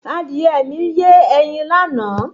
Adìrẹ mi yé ẹyin láàná